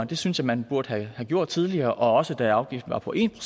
det synes jeg man burde have gjort tidligere også da afgiften var på en